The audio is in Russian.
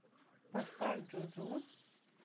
поставь джуджу